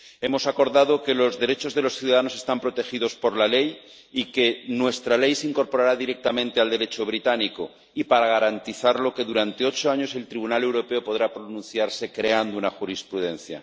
Hemos acordado que los derechos de los ciudadanos están protegidos por la ley y que nuestra ley se incorporará directamente al Derecho británico y, para garantizarlo, que durante ocho años el Tribunal Europeo podrá pronunciarse creando jurisprudencia.